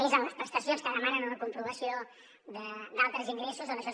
és en les pres tacions que demanen una comprovació d’altres ingressos on això